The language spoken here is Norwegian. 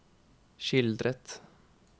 skildret